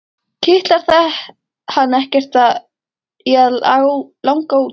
Kitlar það hann ekkert í að langa út?